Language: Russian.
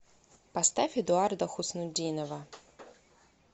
поставь эдуарда хуснутдинова